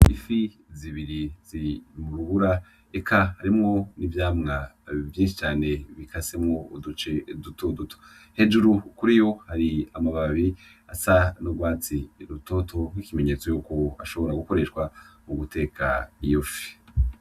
Ifi zibiri ziri mu rubura eka harimwo n'ivyamwa vyinshi cane bikasemwo uduce dutoduto. Hejuru kuriyo hari amababi asa n'urwatsi rutoto nk'ikimenyetso c'uko ashobora gukoreshwa mu guteka iyo fi.